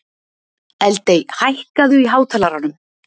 Eldey, hækkaðu í hátalaranum.